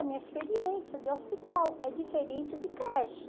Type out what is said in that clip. Minha experiência de hospital é diferente de creche.